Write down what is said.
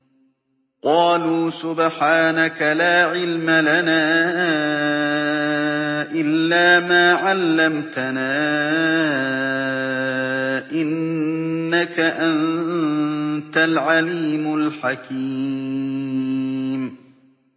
قَالُوا سُبْحَانَكَ لَا عِلْمَ لَنَا إِلَّا مَا عَلَّمْتَنَا ۖ إِنَّكَ أَنتَ الْعَلِيمُ الْحَكِيمُ